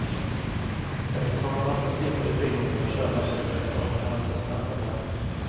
Eftersom han ofta sitter i bilen och kör långa sträckor kan han få smärtor där.